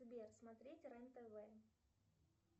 сбер смотреть рен тв